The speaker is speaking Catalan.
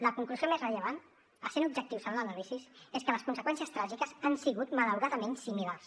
la conclusió més rellevant essent objectius en les anàlisis és que les conseqüències tràgiques han sigut malauradament similars